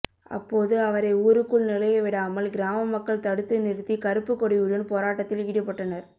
அப்போது அவரை ஊருக்குள் நுழைய விடாமல் கிராம மக்கள் தடுத்து நிறுத்தி கறுப்புக் கொடியுடன் போராட்டத்தில் ஈடுபட்டனர்